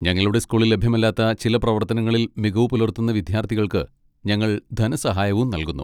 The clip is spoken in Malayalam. ഞങ്ങളുടെ സ്കൂളിൽ ലഭ്യമല്ലാത്ത ചില പ്രവർത്തനങ്ങളിൽ മികവ് പുലർത്തുന്ന വിദ്യാർത്ഥികൾക്ക് ഞങ്ങൾ ധനസഹായവും നൽകുന്നു.